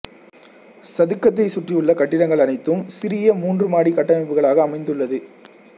சதுக்கத்தைச் சுற்றியுள்ள கட்டிடங்கள் அனைத்தும் சிறிய மூன்று மாடி கட்டமைப்புகளாக அமைந்துள்ளது